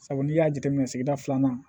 Sabu n'i y'a jateminɛ sigida filanan